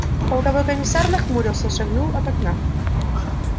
полковой комиссар нахмурился шагнул от окна